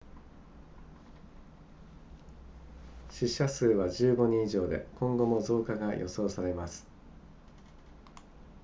死者数は15人以上で今後も増加が予想されます